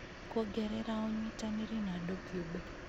kuongerera ũnyitanĩri na andũ kĩũmbe.